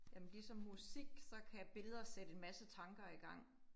Jamen ligesom musik, så kan billeder sætte en masse tanker i gang